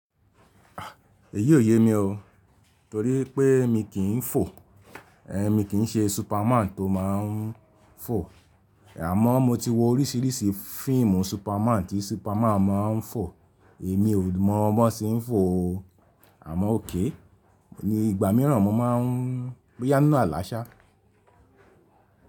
Èyí ò yẹ mí o. Torí pé mi kì ń fò, ẹ mi kì ń ṣe superman tó má ń fò. Àmọ́ mo ti wo orísìírísìí fíìmù superman tí superman má ń fò. Èmi ò mọ bọ́n ṣe ń fò o. Àmọ́ òkay, ni ìgbà mìíràn mo má ń boya ńinu àlàṣà.